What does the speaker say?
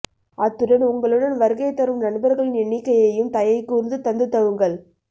அத்துடன் உங்களுடன் வருகை தரும் நண்பர்களின் எண்ணிக்கையையும் தயை கூர்ந்து தந்துதவுங்கள்